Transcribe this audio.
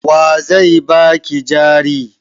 Wa zai ba ki jari?